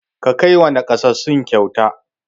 Ka kai wa naƙasassu kyauta!